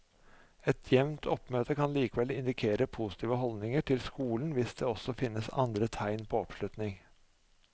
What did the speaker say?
Et jevnt oppmøte kan likevel indikere positive holdninger til skolen hvis det også finnes andre tegn på oppslutning.